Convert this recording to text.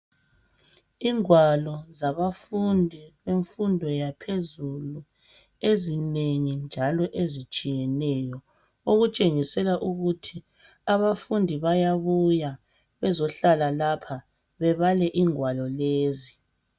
Ingwalo zabafundi, imfundo yaphezulu, ezinengi njalo ezitshiyeneyo. Okutshengisela ukuthi abafundi bayabuya bezohlala lapha bebale ingwalo lezi.